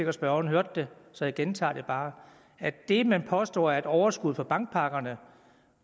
at spørgeren hørte det så jeg gentager det bare det man påstår er et overskud fra bankpakkerne er